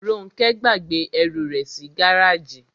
Róńkẹ́ gbàgbé ẹrù rẹ̀ sí gáràjì.